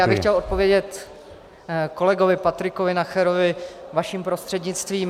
Já bych chtěl odpovědět kolegovi Patriku Nacherovi vaším prostřednictvím.